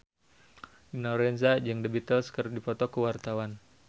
Dina Lorenza jeung The Beatles keur dipoto ku wartawan